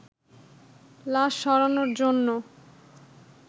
লাশ সরানোর জন্য